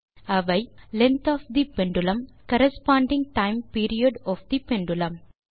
அவை length of the pendulum corresponding time period of the pendulum